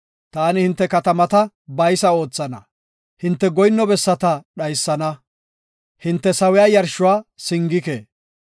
Taani hinte katamata baysa oothana; hinte goyinno bessata dhaysana; hinte sawiya yarshuwa singike.